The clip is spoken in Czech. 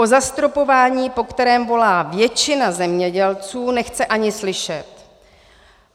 O zastropování, po kterém volá většina zemědělců, nechce ani slyšet.